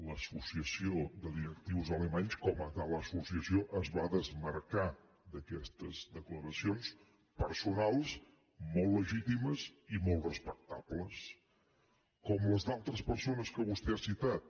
l’associació de directius alemanys com a tal associació es va desmarcar d’aquestes declaracions personals molt legitimes i molt respectables com les d’altres persones que vostè ha citat